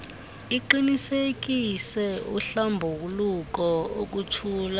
iqinisekise uhlambuluko ukuntshula